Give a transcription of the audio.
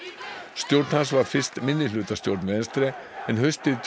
stjórn hans var fyrst minnihlutastjórn Venstre en haustið tvö